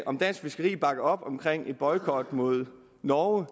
om dansk fiskeri bakker op om en boykot mod norge